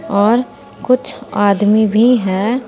और कुछ आदमी भी हैं।